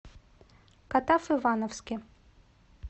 катав ивановске